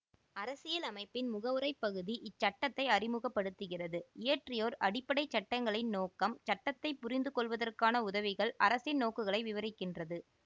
அரசியலமைப்பின் முகவுரைப் பகுதி இச்சட்டத்தை அறிமுக படுத்துகிறது இயற்றியோர் அடிப்படை சட்டங்களின் நோக்கம் சட்டத்தை புரிந்துகொள்ளுவதற்கான உதவிகள் அரசின் நோக்குகளை விவரிக்கின்றது